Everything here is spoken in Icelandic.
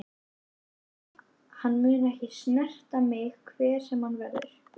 Hann mun ekki snerta mig hver sem hann verður.